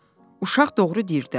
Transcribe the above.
"Uşaq doğru deyir də.